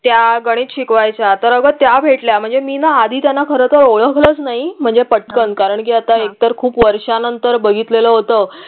त्या गणित शिकवायच्या तर अगं त्या भेटल्या म्हणजे मी न आधी त्यांना खरं तर ओळखलं नाही म्हणजे पटकन कारंकी आता एक तर खूप वर्षानंतर बघितलं होत